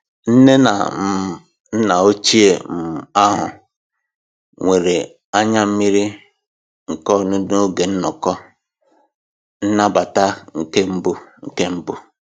Nne na um nna ochie um ahụ nwere anya mmiri nke ọṅụ n'oge nnọkọ nnabata nke mbụ. nke mbụ.